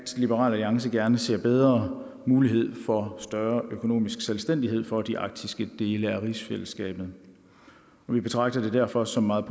liberal alliance gerne ser bedre mulighed for større økonomisk selvstændighed for de arktiske dele af rigsfællesskabet vi betragter det derfor som meget